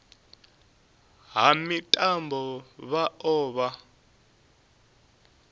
ha mitambo vha o vha